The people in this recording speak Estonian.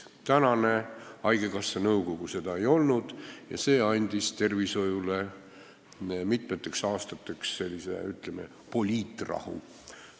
Senine haigekassa nõukogu seda polnud ja see tagas tervishoiule mitmeteks aastateks sellise, ütleme, poliitrahu.